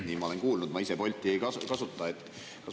Nii ma olen kuulnud, ma ise Bolti ei kasuta.